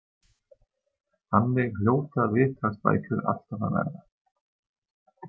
Þannig hljóta viðtalsbækur alltaf að verða.